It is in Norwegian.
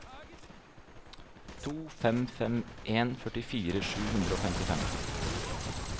to fem fem en førtifire sju hundre og femtifem